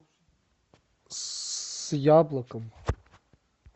с яблоком